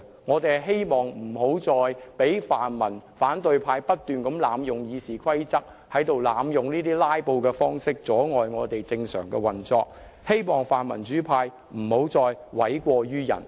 我們希望防止泛民或反對派不斷濫用《議事規則》，或以"拉布"方式阻礙議會正常運作，亦希望泛民主派不要再諉過於人。